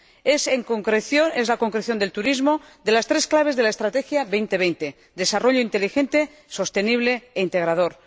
Es la concreción del turismo de las tres claves de la Estrategia 2020 desarrollo inteligente, sostenible e integrador.